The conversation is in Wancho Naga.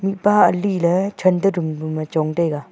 mihpa ali le chanta room e chong taiga.